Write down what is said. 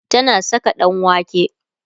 tana Saka ɗanwake